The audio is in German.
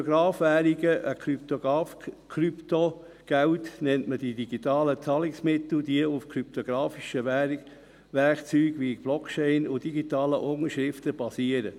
Krypto-Währungen, Krypto-Geld nennt man die digitalen Zahlungsmittel, die auf kryptografischen Werkzeugen wie Blockchain und digitalen Unterschriften basieren.